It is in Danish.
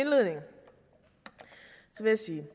jeg sige